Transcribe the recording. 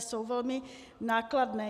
Jsou velmi nákladné.